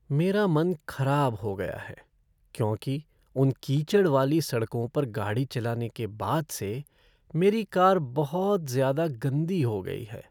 मेरा मन खराब हो गया है, क्योंकि उन कीचड़ वाली सड़कों पर गाड़ी चलाने के बाद से मेरी कार बहुत ज़्यादा गंदी हो गई है।